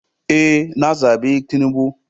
Ee, na zabi tinubu.